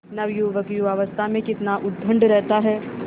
नवयुवक युवावस्था में कितना उद्दंड रहता है